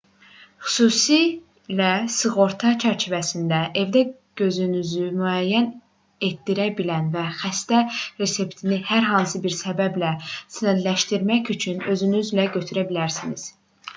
xüsusilə sığorta çərçivəsindədirsə evdə gözünüzü müayinə etdirə bilər və xəstə reseptini hər hansı bir səbəblə sənədləşdirmək üçün özünüzlə götürə bilərsiniz